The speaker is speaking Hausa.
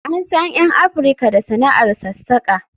An san 'yan Afirka da sana'ar sassaƙa